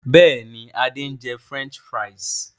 Bẹ́ẹ̀ni, Adé ń jẹ "French fries".